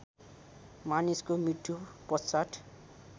मानिसको मृत्यु पश्चात्